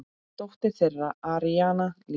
Dóttir þeirra: Aríanna Líf.